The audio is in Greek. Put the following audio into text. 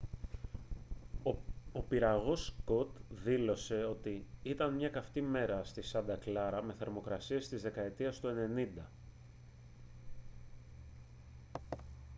ο πυραγός scott δήλωσε ότι «ήταν μια καυτή μέρα στη σάντα κλάρα με θερμοκρασίες της δεκαετίας του 90